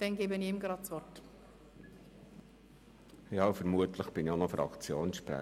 Ja, und vermutlich bin ich auch Fraktionssprecher.